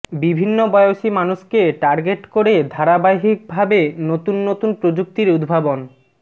বিভিন্ন বয়সী মানুষকে টার্গেট করে ধারাবাহিকভাবে নতুন নতুন প্রযুক্তির উদ্ভাবন